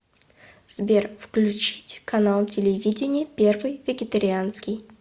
сбер включить канал телевидения первый вегетарианский